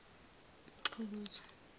umxukuzwa